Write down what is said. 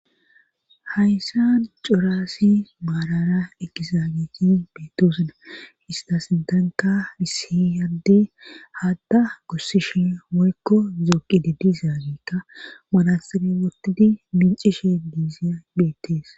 Hayssan cora assi maalara ekisa aneti beettoosana hista sintanka issi adde haatta gussishe woykko zooqi giddizaagekka manasire wotidi mincishe diizays beettees